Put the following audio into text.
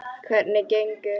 Hvernig gengur?